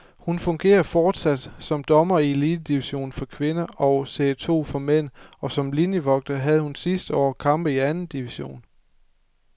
Hun fungerer fortsat som dommer i elitedivisionen for kvinder og serie to for mænd, og som linievogter havde hun sidste år kampe i anden division.